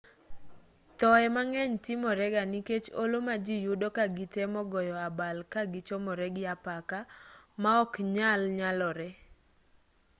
thoye mang'eny timorega nikech olo ma ji yudo ka gitemo goyo abal ka gichomore gi apaka maoknyal nyalore